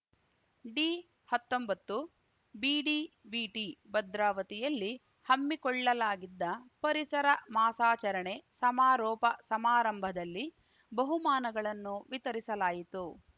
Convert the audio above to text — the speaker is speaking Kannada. ಡಿಹತ್ತೊಂಬತ್ತುಬಿಡಿವಿಟಿ ಭದ್ರಾವತಿಯಲ್ಲಿ ಹಮ್ಮಿಕೊಳ್ಳಲಾಗಿದ್ದ ಪರಿಸರ ಮಾಸಾಚರಣೆ ಸಮಾರೋಪ ಸಮಾರಂಭದಲ್ಲಿ ಬಹುಮಾನಗಳನ್ನು ವಿತರಿಸಲಾಯಿತು